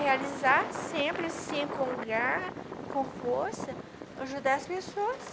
Realizar sempre, sim, com garra, com força, ajudar as pessoas.